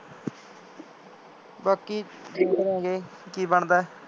ਬਾਕੀ ਦੇਖ ਲਾਂ ਗੇ ਕੀ ਬਣਦਾ